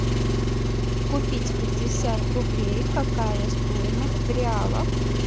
купить пятьдесят рублей какая стоимость в реалах